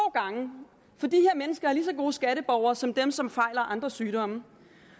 gange for de her mennesker er lige så gode skatteborgere som dem som har andre sygdomme